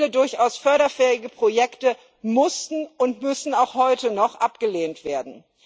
Viele durchaus förderfähige Projekte mussten und müssen auch heute noch abgelehnt werden.